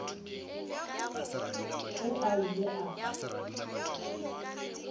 ge a ile a tla